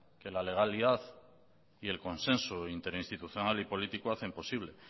que la legalidad y el consenso interinstitucional y político hacen posible